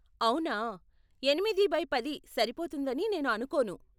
అవునా, ఎనిమిది బై పది సరిపోతుందని నేను అనుకోను.